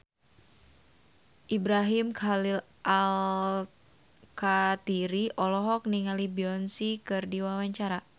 Ibrahim Khalil Alkatiri olohok ningali Beyonce keur diwawancara